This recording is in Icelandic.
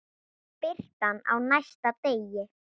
Birtan á næsta degi.